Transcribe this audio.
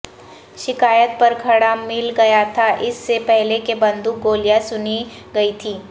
شکایات پر کھڑا مل گیا تھا اس سے پہلے کہ بندوق گولیاں سنی گئی تھیں